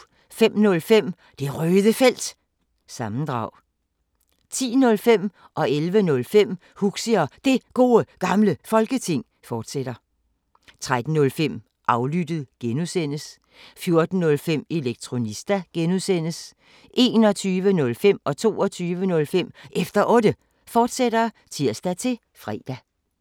05:05: Det Røde Felt – sammendrag 10:05: Huxi og Det Gode Gamle Folketing 11:05: Huxi og Det Gode Gamle Folketing, fortsat 13:05: Aflyttet (G) 14:05: Elektronista (G) 21:05: Efter Otte, fortsat (tir-fre) 22:05: Efter Otte, fortsat (tir-fre)